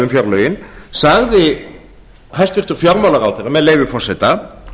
fjárlögin sagði hæstvirtur fjármálaráðherra með leyfi forseta